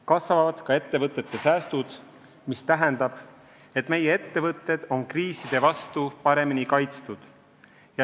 Kasvavad ka ettevõtete säästud, mis tähendab, et meie ettevõtted on kriiside vastu paremini kaitstud.